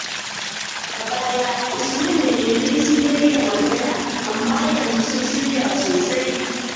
A baya, Usman da Yemi sun daina magana, amma yanzu sun shirya sosai.